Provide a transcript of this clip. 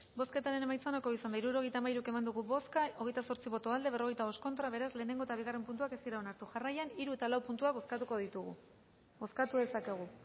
bozketaren emaitza onako izan da hirurogeita hamairu eman dugu bozka hogeita zortzi boto aldekoa cuarenta y cinco contra beraz lehenengo eta bigarren puntuak ez dira onartu jarraian hiru eta lau puntuak bozkatuko ditugu bozkatu dezakegu